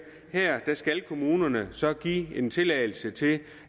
at her skal kommunerne så give en tilladelse til